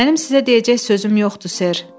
Mənim sizə deyəcək sözüm yoxdur, ser.